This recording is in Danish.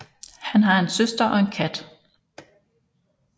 Han har en søster og en kat